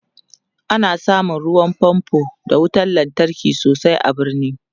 ana samun ruwan fanfo d wutar lantarki sosai a birni